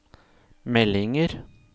meldinger